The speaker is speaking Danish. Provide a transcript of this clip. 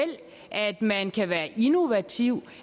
at man kan være innovativ